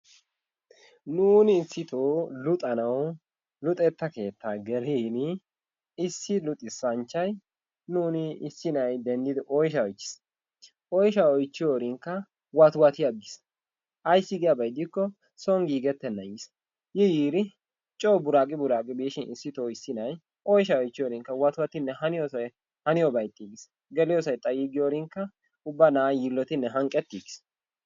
Nuun issitoo luxanawu luxetta keettaa gelin issi luxissanchchay nuun issi nay denddidi oyshsha oychchiis, oyshshaa oychchin watti watti aggiis ayssi giyaaba gidikko soon giigetenan yiis. Yi yiira coo buraqi buraqi biishin issitto issi na'y oyshsha oychchiyoorin waatti wattinne haniyoobay ixxiigiis geliyoossay ixxiyoorinkka ubba na'ay yiilotinne hanqqeetigiis.